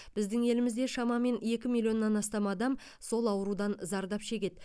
біздің елімізде шамамен екі миллионнан астам адам сол аурудан зардап шегеді